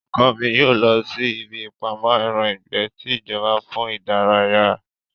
Ọkọ mi yóò lọ sí ibí ìpamọ́ ẹran ìgbẹ́ ti ìjọba fún ìdárayá